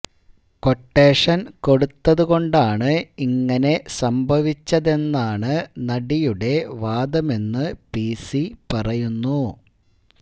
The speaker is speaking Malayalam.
ക്വട്ടേഷന് കൊടുത്തതുകൊണ്ടാണ് ഇങ്ങനെ സംഭവിച്ചതെന്നാണ് നടിയുടെ വാദമെന്ന് പിസി പറയുന്നു